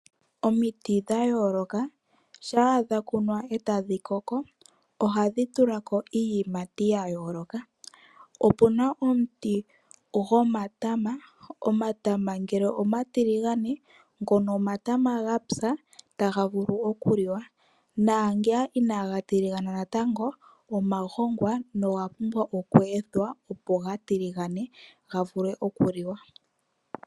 Omiti dha yooloka shampa dhakunwa etadhi koko ohadhi tulako iiyimati ya yooloka. Opuna omuti gomatama . Omatama ngele omatiligane ngono Omatama gapya taga vulu okuliwa naangeya inaga tiligana natango omagongwa no ga pumbwa oku ethwa opo ga tiligane ga vule okuliwa.